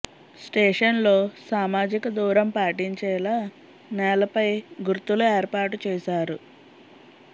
station లో సామజిక దూరం పాటించేలా నేలపై గుర్తులు ఏర్పాటు చేసారు